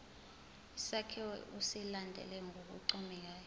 isakhiwo usilandele ngokuncomekayo